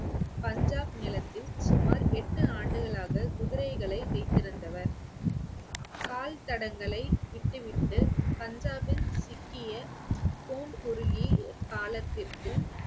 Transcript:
பஞ்சாப் நிலத்தில் சுமார் எட்டு ஆண்டுகளாக குதிரைகளை வைத்திருந்தவர் கால் தடங்களை விட்டுவிட்டு பஞ்சாபின் காலத்திற்கு